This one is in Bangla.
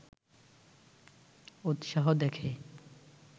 উৎসাহ দেখে